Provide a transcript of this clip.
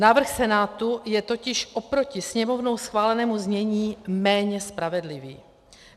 Návrh Senátu je totiž oproti Sněmovnou schválenému znění méně spravedlivý.